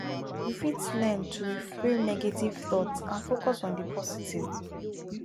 you fit learn to reframe negative thoughts and focus on di positive